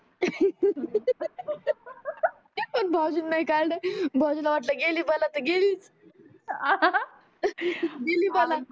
पण भाऊजीन नाही काडले भाऊजीला वाटल गेली बला तर गेली गेली बला